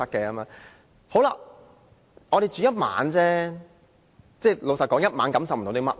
我們只是住1晚而已，老實說，住1晚感受不了甚麼。